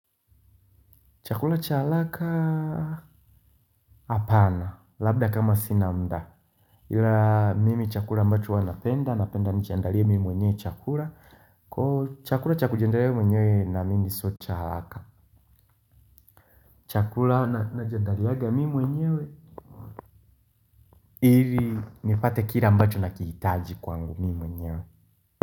Chakula cha haraka hapana labda kama sina mda. Ila mimi chakula ambacho huwa napenda, napenda nijiandalie mimi mwenyewe chakula. Kwaivo chakula cha kujiandalia mimi mwenyewe naamimi sio cha haraka. Chakula najiandaliaga mimi mwenyewe. Ili nipate kile ambacho nakihitaji kwangu mi mwenyewe.